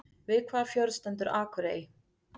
Við hvaða fjörð stendur Akurey?